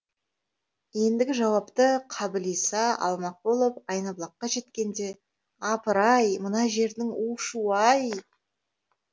ендігі жауапты қабылиса алмақ болып айнабұлаққа жеткенде апыр ай мына жердің у шуы ай